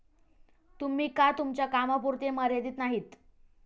तुम्ही का तुमच्या कामापुरते मर्यादीत नाहीत?